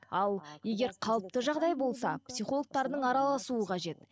ал егер қалыпты жағдай болса психологтардың араласуы қажет